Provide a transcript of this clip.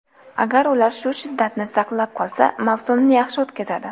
Agar ular shu shiddatni saqlab qolsa, mavsumni yaxshi o‘tkazadi.